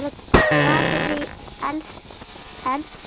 Raðið í eldfast form.